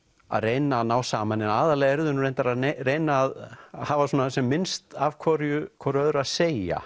að reyna að ná saman eða aðallega eru þau nú reyndar að reyna að hafa svona sem misst af hvoru hvoru öðru að segja